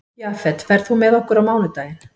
Jafet, ferð þú með okkur á mánudaginn?